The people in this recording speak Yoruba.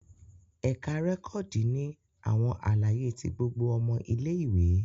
Ẹka rẹkọdi ni awọn alaye ti gbogbo ọmọ ìlé-ìwé